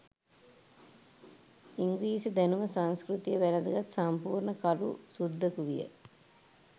ඉංග්‍රීසි දැනුම සංස්කෘතිය වැළඳගත් සම්පූර්ණ කළු සුද්දකු විය